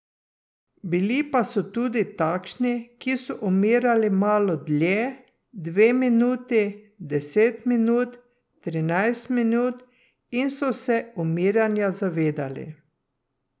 Bili pa so tudi takšni, ki so umirali malo dlje, dve minuti, deset minut, trinajst minut, in so se umiranja zavedali.